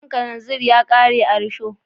Man karanzir ya kare a rusho